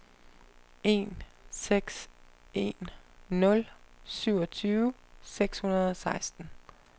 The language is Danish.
en seks en nul syvogtyve seks hundrede og seksten